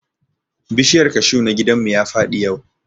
Bishiyar kashu na gidan mu ya faɗi yau